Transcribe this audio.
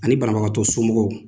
Ani banabagatɔ somɔgɔw